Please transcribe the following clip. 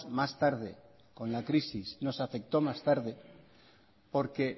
más tarde con la crisis nos afectó más tarde porque